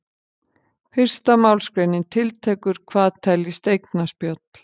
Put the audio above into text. Fyrsta málsgreinin tiltekur hvað teljist eignaspjöll.